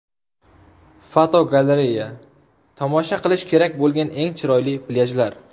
Fotogalereya: Tomosha qilish kerak bo‘lgan eng chiroyli plyajlar.